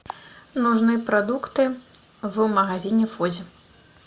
нужны продукты в магазине фоззи